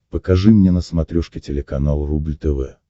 покажи мне на смотрешке телеканал рубль тв